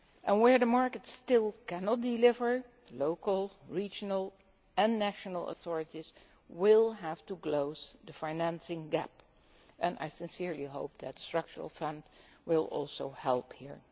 Where the markets can still not deliver, local, regional and national authorities will have to close the financing gap, and I sincerely hope that the structural funds will also help here.